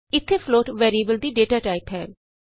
ਇਥੇ float variable ਚ ਦੀ ਡਾਟਾ ਟਾਈਪ ਹੈ